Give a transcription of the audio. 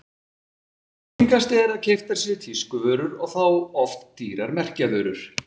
Algengast er að keyptar séu tískuvörur og þá oft dýrar merkjavörur.